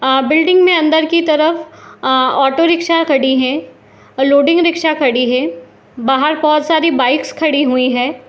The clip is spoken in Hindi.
अ बिल्डिंग मे अंदर की तरफ ए ऑटो रिक्शा खड़ी है लोडिंग रिक्शा खड़ी है बाहर बहुत सारी बाइक्स खड़ी हुई है ।